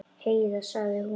Heiða, sagði hún.